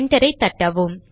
enter ஐ தட்டவும்